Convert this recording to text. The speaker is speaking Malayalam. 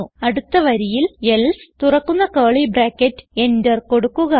അടുത്ത വരിയിൽ എൽസെ എന്റർ കൊടുക്കുക